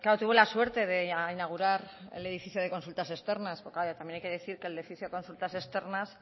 tuvo la suerte de inaugurar el edificio de consultas externas pero claro también hay que decir que el edificio de consultas externas